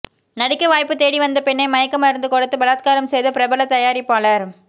நடிக்க வாய்ப்பு தேடி வந்த பெண்ணை மயக்க மருந்து கொடுத்து பலாத்காரம் செய்த பிரபல தயாரிப்பாளர்